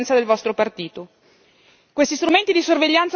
Siete l'espressione perfetta della coerenza del vostro partito.